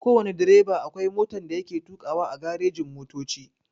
Kowana direba akwai motan da yake tukawa a garejin motoci.